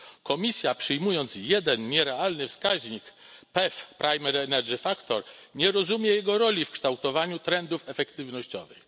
Komisja, przyjmując jeden nierealny wskaźnik PEF, nie rozumie jego roli w kształtowaniu trendów efektywnościowych.